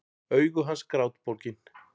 Augu hans grátbólgin.